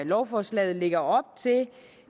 lovforslaget lægger op